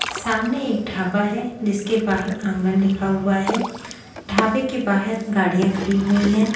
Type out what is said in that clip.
सामने एक ढाबा है जिसके बहार आंगन लिखा हुआ है ढाबे के बाहर गाड़िया खड़ी हुई हैं।